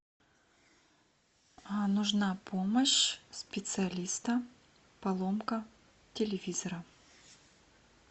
нужна помощь специалиста поломка телевизора